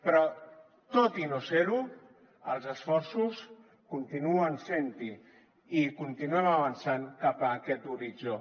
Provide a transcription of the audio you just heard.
però tot i no ser ho els esforços continuen sent hi i continuem avançant cap a aquest horitzó